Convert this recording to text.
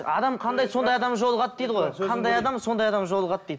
адам қандай сондай адам жолығады дейді ғой қандай адам сондай адам жолығады дейді